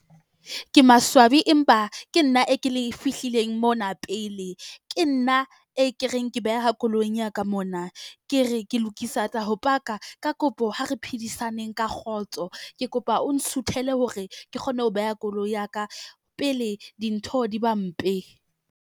Ke maswabi empa ke nna e ke le fihlileng mona pele. Ke nna e ke reng ke beha koloing ya ka mona. Ke re, ke lokisa tsa ho paka. Ka kopo, ha re phedisaneng ka kgotso. Ke kopa o nsuthele hore ke kgone ho beha koloi ya ka pele dintho di ba mpe.